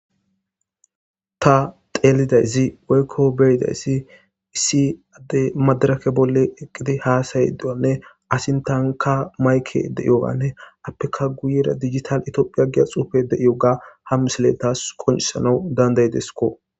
Ta xelidays woyko beyidays issi adey madireke bolla eqida hasa'idonne a sintanka maykey de'iyogane apeka guyera dijitale ithiophiya giza xufey de'iyoga ha misiley tas qoncisanas dandayidesko.